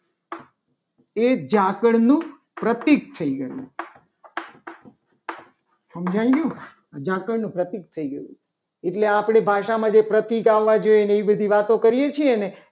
એ ઝાકળનું પ્રતીક થઈ ગયું. સમજાઈ ગયું. ઝાકળનું પ્રતીક થઈ ગયું. એટલે આપણી ભાષામાં જે પ્રતિક આવે ને એવી બધી વાત વાતો કરીએ છીએ. ને